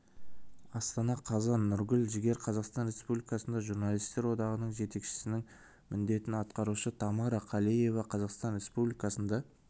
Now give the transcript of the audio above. астана қазан нұргүл жігер қазақстан республикасында журналистер одағының жетекшісінің міндетін атқарушы тамара калеева қазақстан республикасында